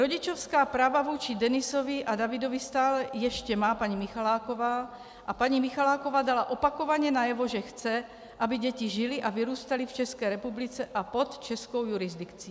Rodičovská práva vůči Denisovi a Davidovi stále ještě má paní Michaláková a paní Michaláková dala opakovaně najevo, že chce, aby děti žily a vyrůstaly v České republice a pod českou jurisdikcí.